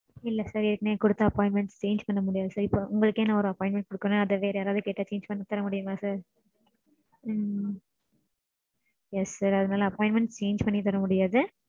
இல்ல sir ஏற்கெனவே கொடுத்த appointment change பண்ண முடியாது sir. இப்போ உங்களுக்கே நா ஒரு appointment கொடுக்கறேனா அத வேற யாராவது கேட்டா change பண்ணி தர முடியுமா sir? உம் yes sir அதனால appointmnet change பண்ணி தர முடியாது.